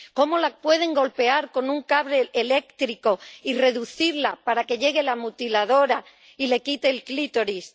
¿Cómo la pueden golpear con un cable eléctrico y reducirla para que llegue la mutiladora y le quite el clítoris?